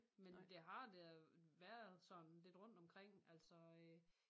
Men det har da været sådan lidt rundt omkring altså øh